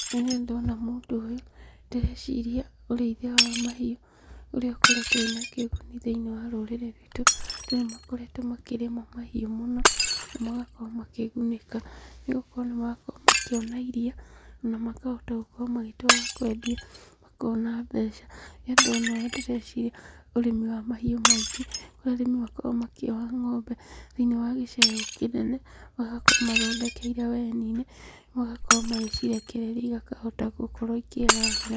Rĩrĩa ndona mũndũ ũyũ, ndĩreciria ũrĩithia wa mahiũ ũrĩa ũkoretwo wĩna kĩguni thĩinĩ wa rũrĩrĩ rwitũ, andũ nĩ makoretwo makĩrĩma mahiũ mũno, na magakorwo makĩgunĩka, nĩ gũkorwo nĩ marakorwo makĩona iriia, ona makahota gũkorwo magĩtwara kwendia makona mbeca, rĩrĩ ndona ũũ ndĩreciria, ũrĩmi wa mahiũ maingĩ kũrĩa arĩmi makoragwo makĩoha ng'ombe, thĩinĩ wa gĩcegũ kĩnene, magakorwo mathondekeire weni-inĩ, magakorwo magĩcirekereria ikahota gũkorwo ikĩyarĩra.